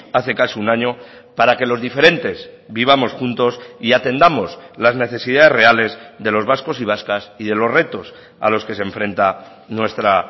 hace casi un año para que los diferentes vivamos juntos y atendamos las necesidades reales de los vascos y vascas y de los retos a los que se enfrenta nuestra